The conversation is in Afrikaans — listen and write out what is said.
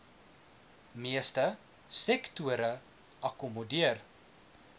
meeste sektore akkommodeer